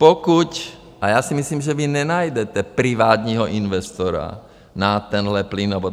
Pokud, a já si myslím, že vy nenajdete privátního investora na tento plynovod.